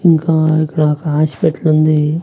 ఇంకా ఇక్కడ ఒక హాస్పిటలుంది .